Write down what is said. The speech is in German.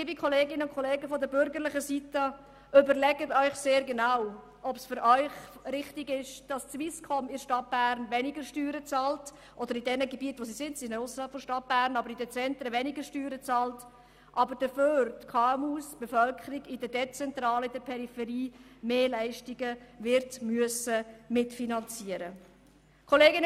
Liebe Kolleginnen und Kollegen von der bürgerlichen Seite: überlegen Sie sich bitte genau, ob es für Sie richtig ist, dass die Swisscom in der Stadt Bern und in den Zentren weniger Steuern bezahlt, während die KMUs und die Bevölkerung in den dezentralen Gebieten mehr Leistungen mitfinanzieren müssen.